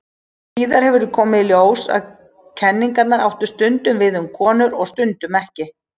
Síðar hefur komið í ljós að kenningarnar áttu stundum við um konur og stundum ekki.